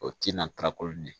O tina ta koli ye